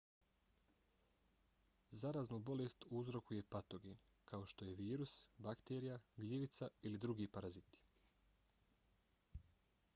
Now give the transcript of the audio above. zaraznu bolest uzrokuje patogen kao što je virus bakterija gljivica ili drugi paraziti